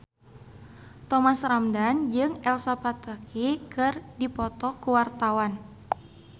Thomas Ramdhan jeung Elsa Pataky keur dipoto ku wartawan